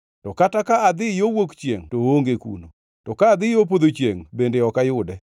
“To kata ka adhi yo wuok chiengʼ to oonge kuno; ka adhi yo podho chiengʼ bende ok ayude.